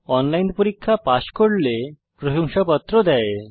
online পরীক্ষা pass করলে প্রশংসাপত্র দেয়